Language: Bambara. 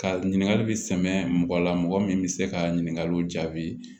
Ka ɲininkali bi sɛmɛ mɔgɔ la mɔgɔ min bɛ se ka ɲininkaliw jaabi